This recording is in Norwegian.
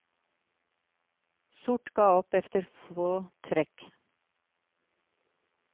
Sort ga opp efter få trekk.